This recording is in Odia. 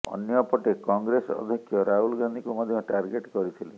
ଅନ୍ୟପଟେ କଂଗ୍ରେସ ଅଧ୍ୟକ୍ଷ ରାହୁଲ ଗାନ୍ଧୀଙ୍କୁ ମଧ୍ୟ ଟାର୍ଗେଟ୍ କରିିଥିଲେ